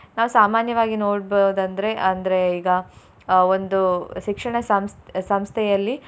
ನಾವು ಸಾಮಾನ್ಯವಾಗಿ ನೋಡ್ಬೋದಂದ್ರೆ ಅಂದ್ರೆ ಈಗ ಅಹ್ ಒಂದು ಶಿಕ್ಷಣ ಸಂಸ್ಥೆ ಸಂಸ್ಥೆಯಲ್ಲಿ.